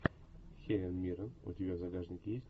хелен миррен у тебя в загашнике есть